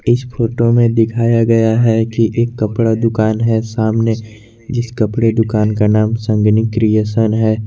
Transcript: इस फोटो में दिखाया गया है कि एक कपड़ा दुकान है सामने जिस कपड़े दुकान का नाम संगिनी क्रिएशन है।